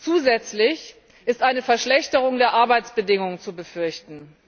Zusätzlich ist eine Verschlechterung der Arbeitsbedingungen zu befürchten.